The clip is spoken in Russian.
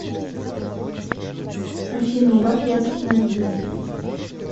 афина убавь яркость на один